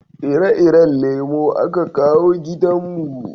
ire-iren lemo a ka kawo gidan mu